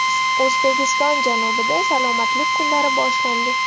O‘zbekiston janubida salomatlik kunlari boshlandi.